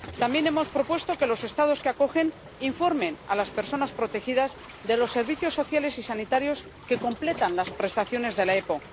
También hemos propuesto que los Estados que acogen informen a las personas protegidas de los servicios sociales y sanitarios que completan las prestaciones de la OEP.